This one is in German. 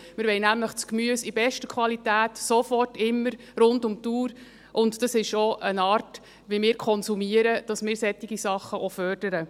Wir wollen nämlich das Gemüse in bester Qualität, sofort, immer, rund um die Uhr, und es liegt auch in der Art, wie wir konsumieren, dass wir solche Sachen auch fördern.